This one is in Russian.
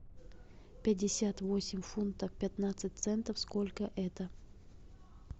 пятьдесят восемь фунтов пятнадцать центов сколько это